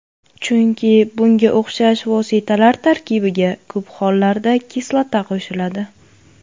Chunki bunga o‘xshash vositalar tarkibiga ko‘p hollarda kislota qo‘shiladi.